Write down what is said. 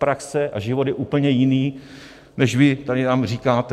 Praxe a život je úplně jiný, než vy tady nám říkáte.